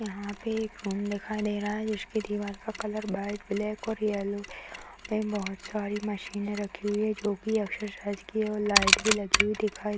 यहाँ पे एक रूम दिखाई दे रहा है जिसके दीवाल के कलर व्हाइट ब्लैक और येलो है | यहाँ पे बहुत सारे मशीने रखी हुई है जो कि एक्सरसाइज कि है और लाइट भी लगी हुई दिखाई --